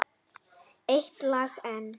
Eitt lag enn.